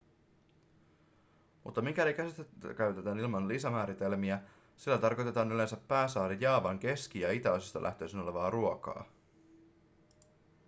mutta mikäli käsitettä käytetään ilman lisämääritelmiä sillä tarkoitetaan yleensä pääsaari jaavan keski- ja itäosista lähtöisin olevaa ruokaa